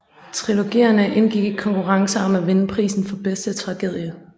Trilogierne indgik i konkurrencer om at vinde prisen for bedste tragedie